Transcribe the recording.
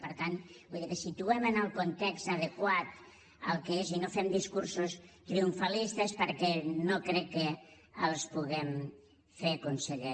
per tant vull dir situem en el context adequat el que és i no fem discursos triomfalistes perquè no crec que els puguem fer conseller